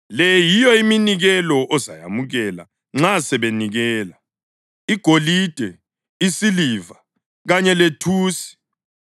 Le yiyo iminikelo ozayamukela nxa sebenikela: igolide, isiliva kanye lethusi,